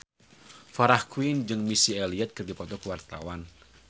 Farah Quinn jeung Missy Elliott keur dipoto ku wartawan